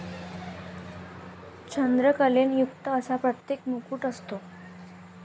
चंद्रकलेने युक्त असा प्रत्येक मुकुट असतो.